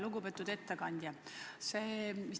Lugupeetud ettekandja!